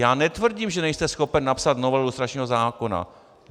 Já netvrdím, že nejste schopen napsat novelu lustračního zákona.